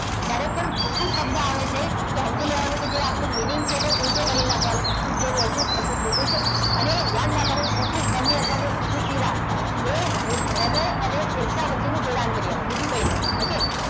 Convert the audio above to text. જ્યારે પણ ફૂફૂસ શબ્દ આવે છે તો સમજી લેવાનું કે આપણો જે meaning છે તેને ઊલટો કરી નાખવાનું શુદ્ધ માંથી અશુદ્ધ અશુદ્ધ માંથી શુદ્ધ. અને યાદ રાખવાનું ફૂફૂસ ધમની અથવા ફૂફૂસ શીરા એ હૃદય અને ફેફસા વચ્ચેનું જોડાણ કરી આલે. બીજું કંઈ નહીં. okay.